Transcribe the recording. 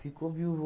Ficou viúvo.